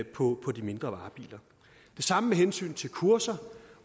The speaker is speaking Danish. på de mindre varebiler det samme med hensyn til kurser